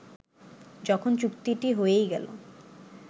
যখন চুক্তিটি হয়েই গেল